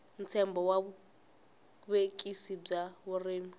ntshembo wa vuvekisi bya vurimi